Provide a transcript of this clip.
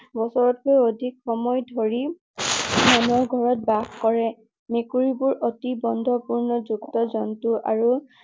বছৰতকৈ অধিক সময় ধৰি মানুহৰ ঘৰত বাস কৰে। মেকুৰী বোৰ অতি বন্ধুত্বপূৰ্ণ জন্তু আৰু